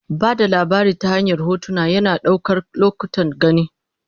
Ba da labari ta hanyar hotuna, yana ɗaukar lokutan gani.